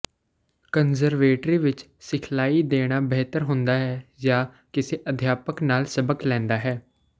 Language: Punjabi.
ਕੰਜ਼ਰਵੇਟਰੀ ਵਿਚ ਸਿਖਲਾਈ ਦੇਣਾ ਬਿਹਤਰ ਹੁੰਦਾ ਹੈ ਜਾਂ ਕਿਸੇ ਅਧਿਆਪਕ ਨਾਲ ਸਬਕ ਲੈਂਦਾ ਹੈ